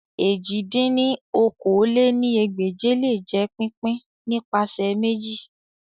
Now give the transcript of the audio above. èjì dín ní okòó-lé-ní-ẹgbẹ́je le jẹ pipin nipasẹ meji